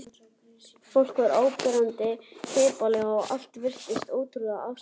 Fólk var áberandi hippalegt og allt virtist ótrúlega afslappað.